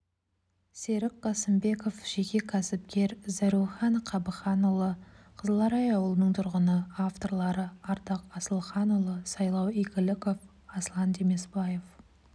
серік қасымбеков жеке кәсіпкер зәрухан қабыханұлы қызыларай ауылының тұрғыны авторлары ардақ асылханұлы сайлау игіліков аслан демесбаев